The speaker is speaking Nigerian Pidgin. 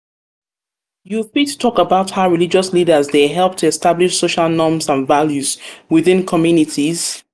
you fit talk about how religious leaders dey help to establish social norms and values within within communities.